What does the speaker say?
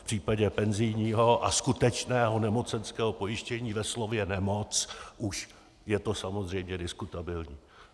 V případě penzijního a skutečného nemocenského pojištění ve slově nemoc už je to samozřejmě diskutabilní.